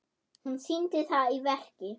Hún sýndi það í verki.